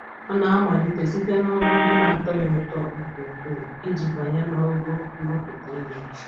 Ọ na-amalite site n'ọrụ ndị na-atọ ya ụtọ nke ukwuu iji banye n'ogo nrụpụta ihe.